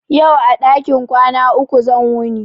Yau a ɗakin ƙwana ku zan wuni